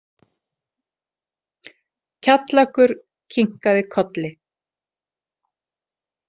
Kjallakur kinkaði kolli.